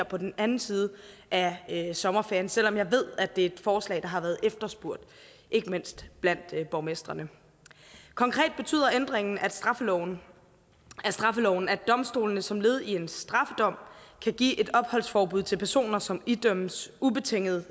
på den anden side af sommerferien selv om jeg ved at det er et forslag der har været efterspurgt ikke mindst blandt borgmestrene konkret betyder ændringen af straffeloven straffeloven at domstolene som led i en straffedom kan give et opholdsforbud til personer som idømmes ubetinget